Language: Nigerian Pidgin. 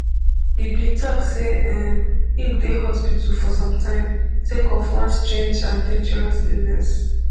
e bin tok say um im dey hospital for sometime sake of one strange and dangerous illness